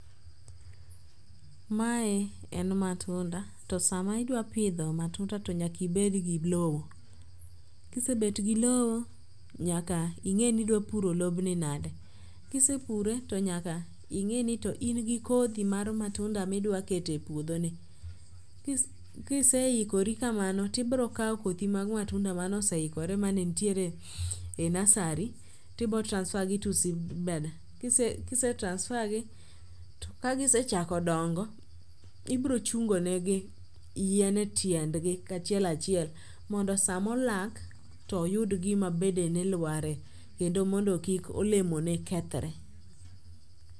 Mae en matunda to sama idwa pidho matunda to nyaka ibe go lowo. Kisebet gi lowo, nyaka ing'e ni idwa puro lobni nade. Kisepure, to nyaka ing'e ni to in gi kodhi mar matunda midwa kete puodho ni. Kiseikore kamano tibirokaw kothi mag matunda mane osehikore manetitiere e nursery tibo transfer gi to seedbed. Kise transfer gi to kagisechako dongo ibro chungonegi yien e tiend gi kachiel achiel mondo samolak toyud gima bedene lware. Kendo mondo kik olemone kethre.